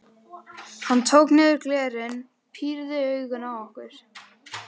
Hann tók niður glerin, pírði augun á okkur.